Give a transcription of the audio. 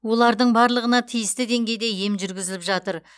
олардың барлығына тиісті деңгейде ем жүргізіліп жатыр